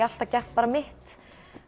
alltaf gert bara mitt